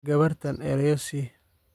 Gabartaan erayo sii